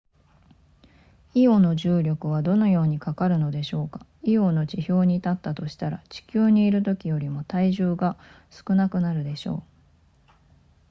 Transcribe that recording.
イオの重力はどのようにかかるのでしょうかイオの地表に立ったとしたら地球にいるときよりも体重が少なくなるでしょう